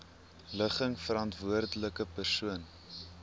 ligging verantwoordelike persoon